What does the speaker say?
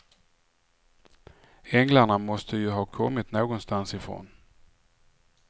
Änglarna måste ju ha kommit någonstans ifrån.